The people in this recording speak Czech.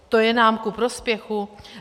To je nám ku prospěchu?